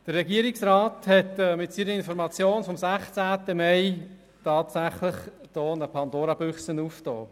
Der Regierungsrat hat mit seiner Information vom 16. Mai 2018 tatsächlich eine Pandora-Büchse geöffnet.